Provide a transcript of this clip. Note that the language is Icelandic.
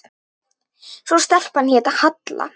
Svo stelpan hét Halla.